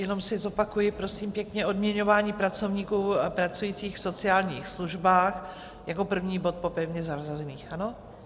Jenom si zopakuji, prosím pěkně: Odměňování pracovníků pracujících v sociálních službách, jako první bod po pevně zařazených, ano?